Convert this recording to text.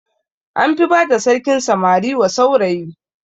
An fi bada sarkin samari wa saurayi